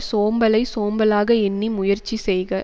சோம்பலை சோம்பலாக எண்ணி முயற்சி செய்க